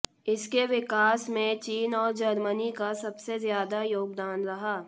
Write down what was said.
इसके विकास में चीन और जर्मनी का सबसे ज्यादा योगदान रहा